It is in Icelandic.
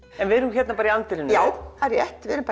við erum bara í anddyrinu já það er rétt við erum